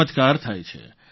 ચમત્કાર થાય છે